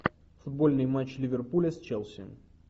футбольный матч ливерпуля с челси